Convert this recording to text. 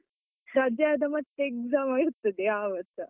ರಜೆ ಆದ ಮತ್ತೆ exam ಇರ್ತದೆ ಯಾವತ್ಸ .